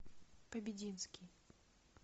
побединский